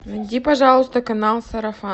найди пожалуйста канал сарафан